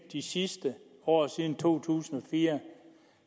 de sidste år siden to tusind og fire